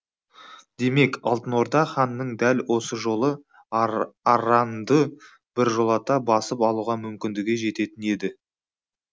демек алтын орда ханының дәл осы жолы арранды біржолата басып алуға мүмкіндігі жететін еді